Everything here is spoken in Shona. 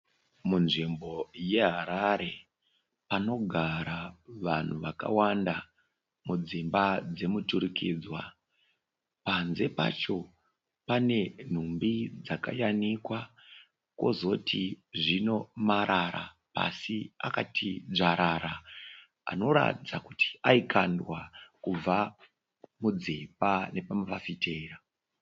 Munzvimbo yeHarare, panogara vanhu vakawanda mudzimba dzemuturikidzwa. Panze pacho pane nhumbi dzakayanikwa. Kozoti zvino marara pasi akati dzvarara anoratidza kuti aikandwa kubva mudzimba nepafafitera.